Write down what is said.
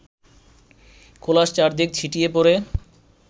খোলস চারদিকে ছিটিয়ে পড়ে